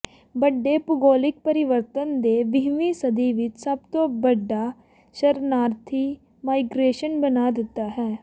ਵੱਡੇ ਭੂਗੋਲਿਕ ਪਰਿਵਰਤਨ ਨੇ ਵੀਹਵੀਂ ਸਦੀ ਵਿੱਚ ਸਭ ਤੋਂ ਵੱਡਾ ਸ਼ਰਨਾਰਥੀ ਮਾਈਗ੍ਰੇਸ਼ਨ ਬਣਾ ਦਿੱਤਾ ਹੈ